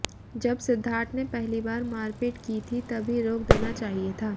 जब सिद्धार्थ ने पहली बार मारपीट की थी तभी रोक देना चाहिए था